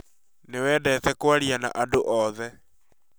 Nĩ wendete kwaria na andũ othe